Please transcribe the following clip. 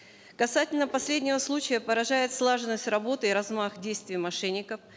касательно последнего случая поражает слаженность работы и размах действий мошенников